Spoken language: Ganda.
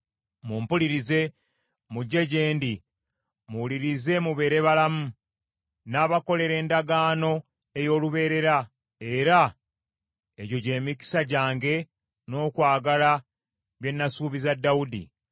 Mumpulirize mujje gye ndi. Muwulirize mubeere balamu; nnaabakolera endagaano ey’olubeerera, era egyo gy’emikisa gyange n’okwagala bye nasuubiza Dawudi.